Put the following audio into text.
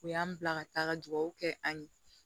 U y'an bila ka taa ka dugawu kɛ an ye